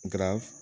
Nga